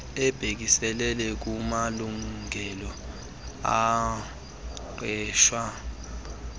ebhekiselele kumalungelo omqeshwa